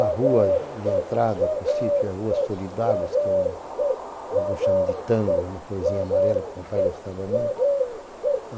A rua de entrada para o sítio é a Rua Solidagos, que alguns chamam de tango, é uma florzinha amarela que o papai gostava muito.